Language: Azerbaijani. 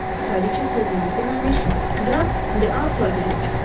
Kraliça sözünü bitirməmiş, Qraf de Artuya gəlib çıxdı.